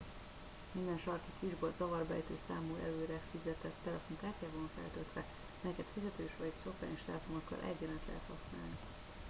minden sarki kisbolt zavarba ejtő számú előre fizetett telefonkártyával van feltöltve melyeket fizetős vagy szokványos telefonokkal egyaránt lehet használni